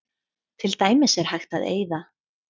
Til dæmis er hægt að eyða